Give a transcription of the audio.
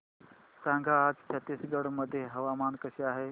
सांगा आज छत्तीसगड मध्ये हवामान कसे आहे